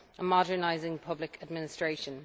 and modernising public administration.